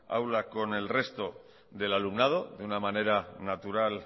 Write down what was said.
aula con el resto del alumnado de una manera natural